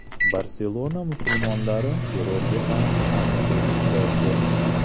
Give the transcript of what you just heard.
Barselona musulmonlari terrorga qarshi aksiya o‘tkazdi.